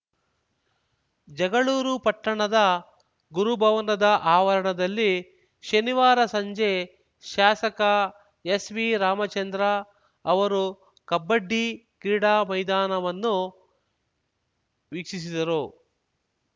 ಜಗಳೂರು ಪಟ್ಟಣದ ಗುರು ಭವನದ ಆವರಣದಲ್ಲಿ ಶನಿವಾರ ಸಂಜೆ ಶಾಸಕ ಎಸ್‌ವಿ ರಾಮಚಂದ್ರ ಅವರು ಕಬಡ್ಡಿ ಕ್ರೀಡಾ ಮೈದಾನವನ್ನು ವೀಕ್ಷಿಸಿದರು